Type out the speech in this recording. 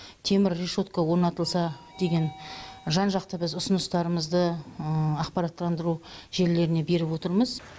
темір решетка орнатылса деген жан жақты біз ұсыныстарымызды ақпараттандыру желілеріне беріп отырмыз